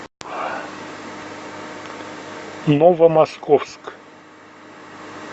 новомосковск